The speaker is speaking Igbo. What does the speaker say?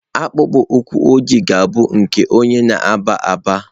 Akpụkpọ ụkwụ ojii ga-abụ nke onye na-agba agba.